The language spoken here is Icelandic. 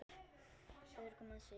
Örugg með sig.